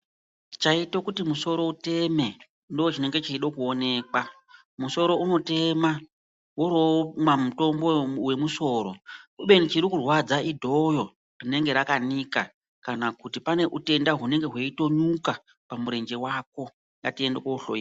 Chaite kuti musoro iteme ndicho chinenge cheida kuonekwa. Musoro unotema worowoomwa mutombo wemusoro kubeni chirikurwadza idhoyo rinenge rakanika kana kuti pane chitenda chinenge cheinyuka pamurenje wako. Ngatiende koohloyiwa.